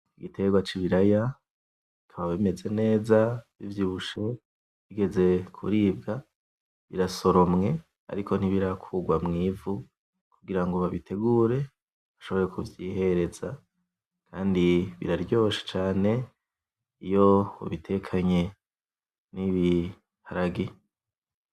Igiterwa c'ibiraya bikaba bimeze neza bivyibushe bigeze kuribwa. Birasoromwe ariko ntibirakurwa mwivu kugirango babitegure bashobore kuvyihereza. Kandi biraryoshe cane iyo ubitekanye n'ibiharage.